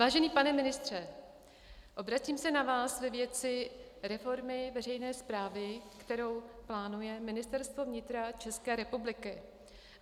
Vážený pane ministře, obracím se na vás ve věci reformy veřejné správy, kterou plánuje Ministerstvo vnitra České republiky.